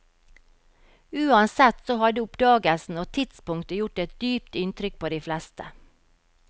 Uansett så hadde oppdagelsen og tidspunktet gjort et dypt inntrykk på de fleste.